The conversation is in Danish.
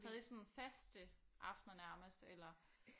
Havde I sådan faste aftener nærmest eller